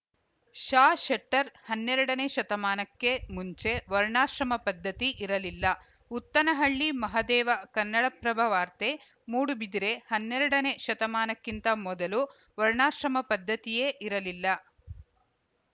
ಷ ಶೆಟ್ಟರ್‌ ಹನ್ನೆರಡನೇ ಶತಮಾನಕ್ಕೆ ಮುಂಚೆ ವರ್ಣಾಶ್ರಮ ಪದ್ಧತಿ ಇರಲಿಲ್ಲ ಉತ್ತನಹಳ್ಳಿ ಮಹದೇವ ಕನ್ನಡಪ್ರಭ ವಾರ್ತೆ ಮೂಡುಬಿದಿರೆ ಹನ್ನರೆಡನೇ ಶತಮಾನಕ್ಕಿಂತ ಮೊದಲು ವರ್ಣಾಶ್ರಮ ಪದ್ಧತಿಯೇ ಇರಲಿಲ್ಲ